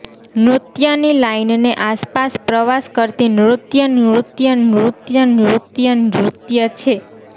નૃત્યની લાઇનની આસપાસ પ્રવાસ કરતી નૃત્ય નૃત્ય નૃત્ય નૃત્ય નૃત્ય છે